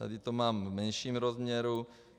Tady to mám v menším rozměru.